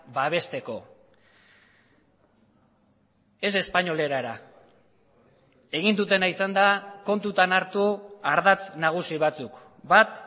babesteko ez espainol erara egin dutena izan da kontutan hartu ardatz nagusi batzuk bat